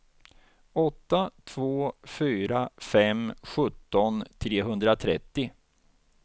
åtta två fyra fem sjutton trehundratrettio